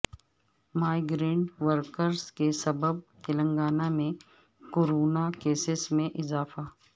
migrant workers کے سبب تلنگانہ میں کورونا کیسس میں اضافہ